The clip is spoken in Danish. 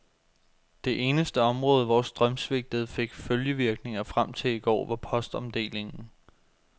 Det eneste område, hvor strømsvigtet fik følgevirkninger frem til i går, var postomdelingen.